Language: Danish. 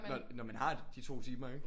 Når man har de 2 timer ikke